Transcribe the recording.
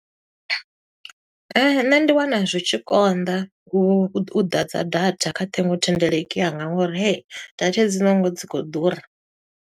Nnṋe ndi wana zwi tshi konḓa, u ḓadza data kha ṱhingothendeleki yanga ngo uri hey, data hedzinoni dzi khou ḓura.